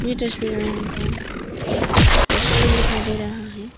तस्वीर में हमको एक रेस्टोरेंट दिखाई दे रहा है।